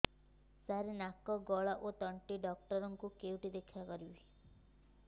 ସାର ନାକ ଗଳା ଓ ତଣ୍ଟି ଡକ୍ଟର ଙ୍କୁ କେଉଁଠି ଦେଖା କରିପାରିବା